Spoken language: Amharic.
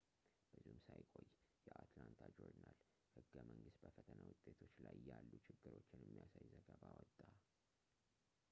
ብዙም ሳይቆይ የአትላንታ ጆርናል-ህገ-መንግስት በፈተና ውጤቶች ላይ ያሉ ችግሮችን የሚያሳይ ዘገባ አወጣ